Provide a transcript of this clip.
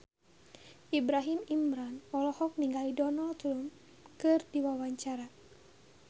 Ibrahim Imran olohok ningali Donald Trump keur diwawancara